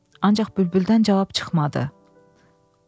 Ancaq bülbüldən cavab çıxmadı.